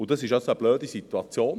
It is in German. Dies ist eine blöde Situation.